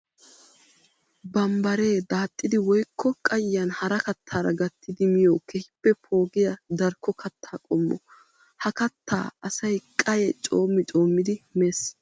Bambbare daaxxidi woykko qayiyan hara kattara gattidi miyo keehippe poogiya darkko katta qommo. Ha katta asay qayye coommi coommiddi meesi.